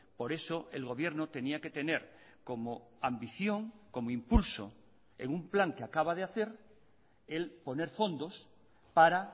por eso el gobierno tenía que tener como ambición como impulso en un plan que acaba de hacer el poner fondos para